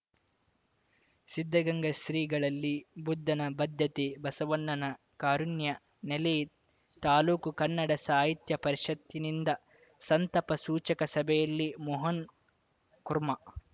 ಸಿದ್ಧಗಂಗಾ ಶ್ರೀಗಳಲ್ಲಿ ಬುದ್ಧನ ಬದ್ಧತೆ ಬಸವಣ್ಣನ ಕಾರುಣ್ಯ ನೆಲೆ ತಾಲೂಕು ಕನ್ನಡ ಸಾಹಿತ್ಯ ಪರಿಷತ್‌ನಿಂದ ಸಂತಾಪ ಸೂಚಕ ಸಭೆಯಲ್ಲಿ ಮೋಹನ್‌ಕುರ್ಮಾ